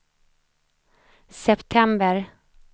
september